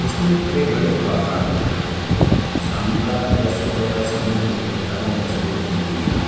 इसमें बड़े - बड़े पहाड़ दिख रहे है शाम का या सुबह का समय होने के कारण तस्वीर धुंधली है।